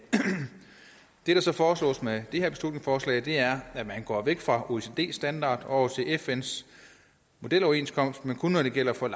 det der så foreslås med det her beslutningsforslag er at man går væk fra oecds standard og til fns modeloverenskomst men kun når det gælder for